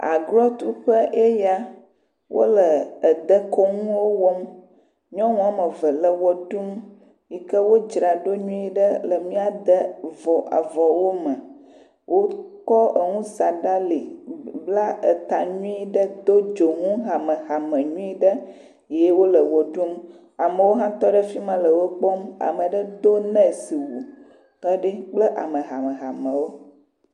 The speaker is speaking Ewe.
Agrotuƒe eya. Wole dekɔnuwo wɔm. Nyɔnu eve le ʋe ɖum yi ke wodzraɖo nyui ɖe le míade vɔwo me. Wokɔ nu sa ɖe ali, bla ta nyui ɖe, do dzonu hamehame nyui ɖe ye wole ʋe ɖum. Amewo hã tɔ ɖe fi ma le wo kpɔm. Ame aɖe do nɔsiwu tɔ ɖi kple ame hamehamewo.